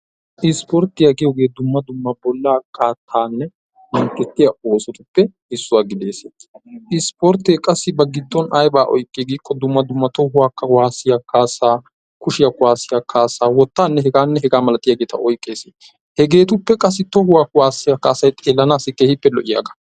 Ispportyiya giyogee dumma dumma bolla qaattanne mintettiya oosotuppe issuwa gidees. Ispporttee qassi ba giddon ayba oyqqi giikko dumma dumma tohuwa kuwaassiya kaassaa, kushiya kuwaassiya kaassaa, wottaanne hegaanne hegaa malatiyageeta oyqqees. heggetuppe tohuwa kuwaassiya kaassay xeelanaas keehippe lo'iyagaa.